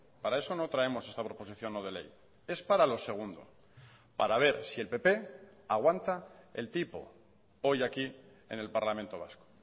para eso no traemos esta proposición no de ley es para lo segundo para ver si el pp aguanta el tipo hoy aquí en el parlamento vasco